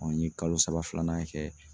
n ye kalo saba filanan kɛ.